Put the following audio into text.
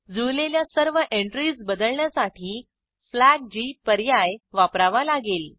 जुळलेल्या सर्व एंट्रीज बदलण्यासाठी फ्लॅग जी पर्याय वापरावा लागेल